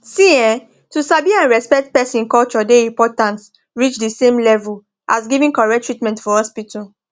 see[um]to sabi and respect person culture dey important reach the same level as giving correct treatment for hospital